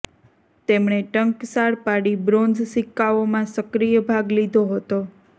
તેમણે ટંકશાળ પાડી બ્રોન્ઝ સિક્કાઓ માં સક્રિય ભાગ લીધો હતો